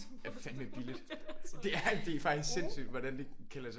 Fandme billigt det er faktisk sindssygt hvordan det kan lade sig